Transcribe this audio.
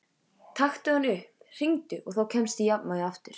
Taktu hann upp, hringdu, og þá kemstu í jafnvægi aftur.